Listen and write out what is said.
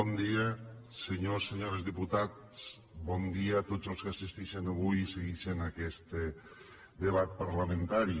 bon dia senyors i senyores diputats bon dia a tots els que assistixen avui i seguixen aquest debat parlamentari